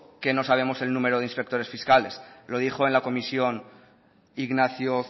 que no sabemos el número de inspectores fiscales lo dijo en la comisión ignacio